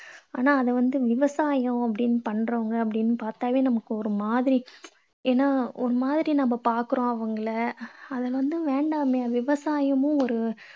ஆனா அதை வந்து விவசாயம் அப்படீன்ன்னு பண்றவங்க அப்படீன்னு பார்த்தாலே நமக்கு ஒரு மாதிரி, ஏன்னா ஒரு மாதிரி நம்ம பார்க்கறோம் அவங்களை அது வந்து வேண்டாமே விவசாயமும் ஒரு